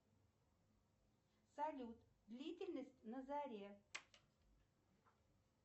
салют длительность на заре